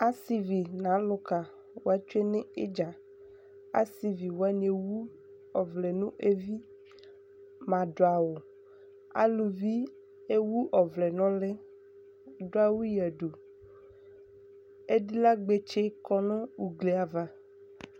asivi no aloka wa tsue no idza asivi wani ewu ɔvlɛ no evi mado awu aluvi ewu ɔvlɛ no uli ko ado awu yadu edilagbotse kɔ no ugli ava